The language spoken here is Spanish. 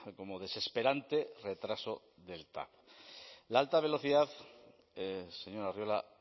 como desesperante retraso del tav la alta velocidad señor arriola